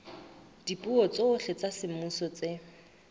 dipuo tsohle tsa semmuso tse